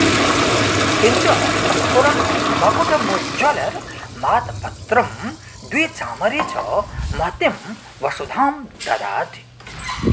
किञ्च स्फुरन्मकुटमुज्ज्वलमातपत्रं द्वे चामरे च महतीं वसुधां ददाति